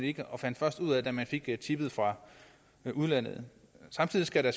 ikke og fandt først ud af det da man fik tippet fra udlandet samtidig skal der